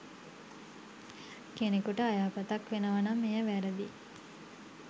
කෙනෙකුට අයහපතක් වෙනවා නම් එය වැරදියි.